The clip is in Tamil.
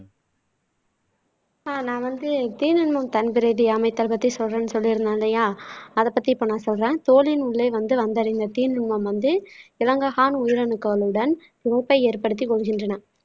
ஆஹ் நான் வந்து தீநுண்மம் தன்பிரதி அமைத்ததைப் பத்தி சொல்றேன்னு சொல்லி இருந்தேன் இல்லையா அதப் பத்தி இப்ப நான் சொல்றேன் தோலின் உள்ளே வந்து வந்தடைந்த தீநுண்மம் வந்து லங்கஹான் உயிரணுக்களுடன் இழப்பை ஏற்படுத்திக் கொள்கின்றன